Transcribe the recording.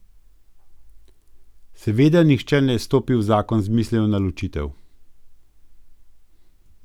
Seveda nihče ne stopi v zakon z mislijo na ločitev.